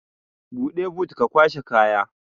Buɗe but ka kwashe kaya